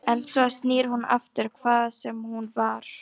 En svo snýr hún aftur, hvaðan sem hún var.